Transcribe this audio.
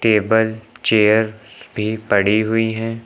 Table chairs भी पड़ी हुई हैं।